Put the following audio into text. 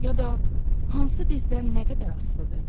Ya da hansı bizdən nə qədər asılıdır?